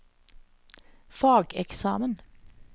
fageksamen